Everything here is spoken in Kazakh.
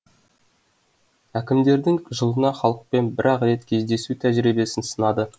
әкімдердің жылына халықпен бір ақ рет кездесу тәжірибесін сынады